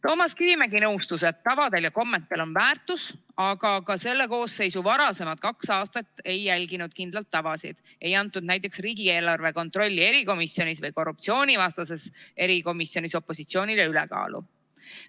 Toomas Kivimägi nõustus, et tavadel ja kommetel on väärtus, aga ka selle koosseisu varasemal kahel aastal ei järgitud kindlaid tavasid, näiteks ei antud riigieelarve kontrolli erikomisjonis või korruptsioonivastases erikomisjonis opositsioonile ülekaalu.